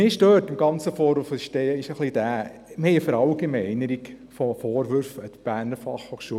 Mich stört an diesem Vorwurf, dass es sich um eine Verallgemeinerung der Vorwürfe gegenüber der BFH handelt.